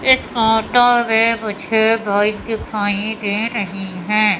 एक फोटो में मुझे बाइक दिखाई रहीं हैं।